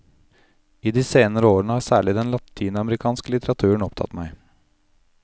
I de senere årene har særlig den latinamerikanske litteraturen opptatt meg.